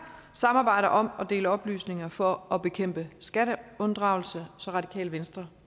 samarbejder om at dele oplysninger for at bekæmpe skatteunddragelse så radikale venstre